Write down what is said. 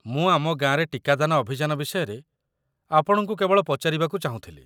ମୁଁ ଆମ ଗାଁରେ ଟିକାଦାନ ଅଭିଯାନ ବିଷୟରେ ଆପଣଙ୍କୁ କେବଳ ପଚାରିବାକୁ ଚାହୁଁଥିଲି।